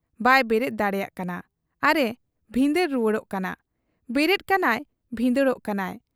ᱵᱟᱭ ᱵᱮᱨᱮᱫ ᱫᱟᱲᱮᱭᱟᱜ ᱠᱟᱱᱟ ᱟᱨ ᱮ ᱵᱷᱤᱸᱫᱟᱹᱲ ᱨᱩᱣᱟᱹᱲᱚᱜ ᱠᱟᱱᱟ ᱾ ᱵᱮᱨᱮᱫ ᱠᱟᱱᱟᱭ ᱵᱷᱤᱸᱫᱟᱹᱲᱚᱜ ᱠᱟᱱᱟᱭ ᱾